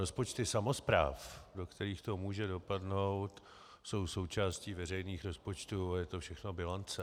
Rozpočty samospráv, do kterých to může dopadnout, jsou součástí veřejných rozpočtů a je to všechno bilance.